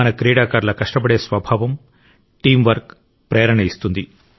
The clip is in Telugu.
మన క్రీడాకారుల కష్టపడే స్వభావం టీం వర్క్ ప్రేరణ ఇస్తుంది